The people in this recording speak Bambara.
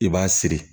I b'a siri